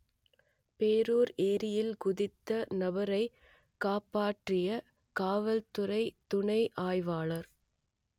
போரூர் ஏரியில் குதித்த நபரை காப்பாற்றிய காவல்துறை துணை ஆய்வாளர்